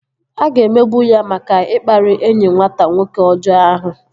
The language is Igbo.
A ga-emegbu ya maka ikpari enyi nwata nwoke ọjọọ ahụ